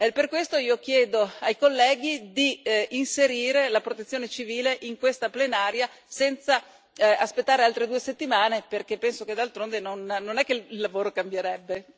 Per questo io chiedo ai colleghi di inserire la Protezione civile in questa Plenaria senza aspettare altre due settimane, perché penso che d'altronde non è che il lavoro cambierebbe.